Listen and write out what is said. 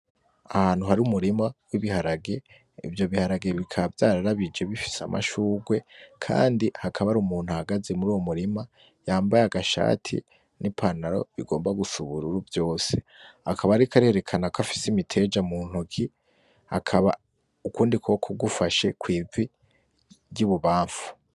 Ahantu hari umurima w'ibiharage. Ivyo biharage bikaba vyararabije bifise amashurwe. Kandi hakaba hari umuntu ahagaze muri uwo murima; yambaye agashati n'ipantaro bigomba gusa ubururu vyose. Akaba ariko arerekana ko afise imiteja mu ntoki. Akaba ukundi kuboko gufashe kw'ivi ry'ibubamfu.